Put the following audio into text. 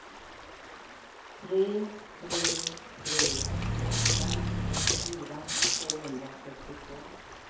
tre tre tre åtta åttiofyra tvåhundrasextiotvå